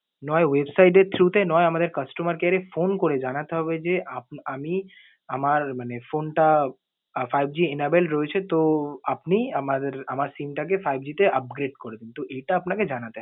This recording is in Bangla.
নয় website এর through তে, নয় আমাদের customer care এ phone করে জানাতে হবে যে, আপ~ আমি আমার মানে phone টা five G enabled রয়েছে। তো, আপনি আমার~ আমার SIM টাকে five G তে upgrade করে দিন। তো এটা আপনাকে জানাতে